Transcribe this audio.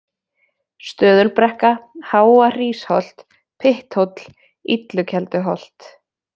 Stöðulbrekka, Háa-Hrísholt, Pytthóll, Illukelduholt